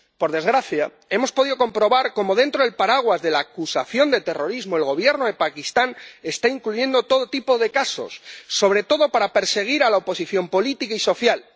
Por desgracia, hemos podido comprobar cómo, dentro del paraguas de la acusación de terrorismo, el Gobierno de Pakistán está incluyendo todo tipo de casos, sobre todo para perseguir a la oposición política y social.